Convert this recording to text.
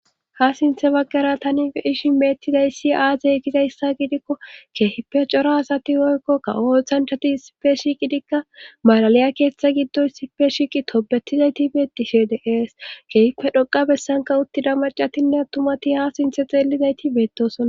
Ha sinthe baggara tanie ishi meettizayssi aazey gizayssa gidikko keehipe cora asati woykkokka ooththanchati sipe shiqidikka maalaliya keeththa giddoy sipe shiiqi tobetizayti beetishe deees keehipe dhoqa bessanka uttida macatinne attumati ha sinthe xeellizayti beettosona